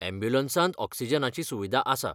यॅम्ब्युलंसांत ऑक्सिजनाची सुविदा आसा.